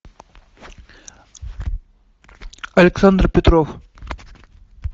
александр петров